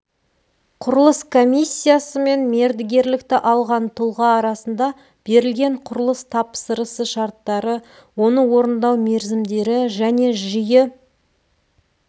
құрылыс комиссиясы мен мердігерлікті алған тұлға арасында берілген құрылыс тапсырысы шарттары оны орындау мерзімдері және жиі